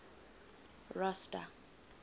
rosta